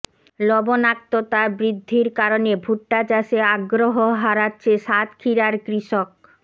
লবণাক্ততা বৃদ্ধির কারণে ভুট্টা চাষে আগ্রহ হারাচ্ছে সাতক্ষীরার কৃষক